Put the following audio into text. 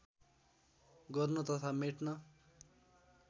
गर्न तथा मेट्न